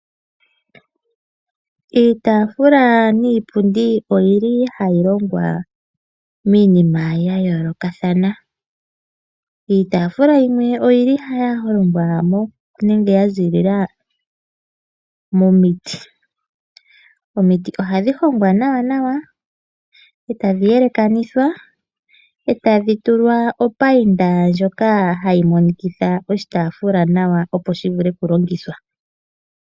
Iitafula niipundi oyili hayi longwa miinima ya yoolokathana. Iitafula yimwe oyili yahongwa nenge ya ziilila momiti. Omiti ohadhi hongwa nawa nawa, etadhi yelekanithwa, ee tadhi tulwa opainda ndjoka hayi monikitha oshitaafula nawa opo shivule okulongithwa.